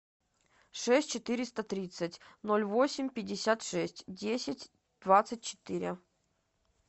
шесть четыреста тридцать ноль восемь пятьдесят шесть десять двадцать четыре